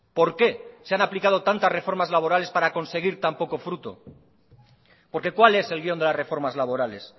por qué se han aplicado tantas reformas laborales para conseguir tan poco fruto porque cuál es el guión de las reformas laborales